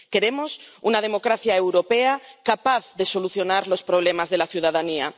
Queremos una democracia europea capaz de solucionar los problemas de la ciudadanía.